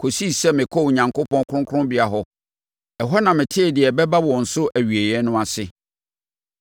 kɔsii sɛ mekɔɔ Onyankopɔn kronkronbea hɔ; ɛhɔ na metee deɛ ɛbɛba wɔn so awieeɛ no ase.